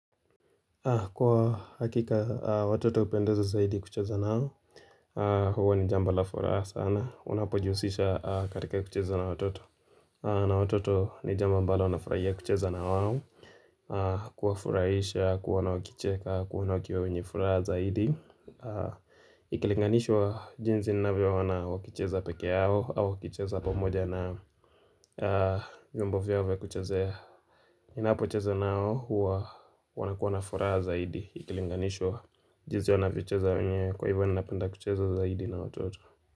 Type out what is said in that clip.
Kwa hakika watoto hupendeza zaidi kucheza nao huwa ni jambo la furaha sana, unapojihusisha katika kucheza na watoto. Na watoto ni jambo ambalo nafurahia kucheza na wao, kuwafurahisha, kuona wakicheka, kuona wakiwa wenye furaha zaidi. Ikilinganishwa jinsi ninavyo ona wakicheza peke yao, au wakicheza pamoja na vyombo vyao vya kuchezea. Ninapocheza nao huwa wanakuwa na furaha zaidi Ikilinganishwa jinsi wanavyocheza wenyewe Kwa hivyo ninapenda kucheza zaidi na watoto.